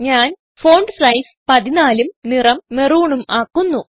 ഞാൻ font size 14ഉം നിറം മെറൂണും ആക്കുന്നു